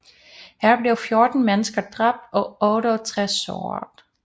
Her blev 14 mennesker dræbt og 68 såret